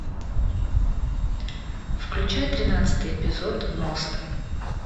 включай тринадцатый эпизод мост